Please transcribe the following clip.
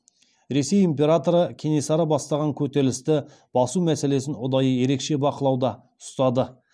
ресей императоры кенесары бастаған көтерілісті басу мәселесін ұдайы ерекше бақылауда ұстады